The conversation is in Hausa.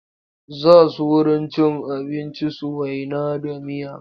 Za su wurin cin abinci su waina da miya.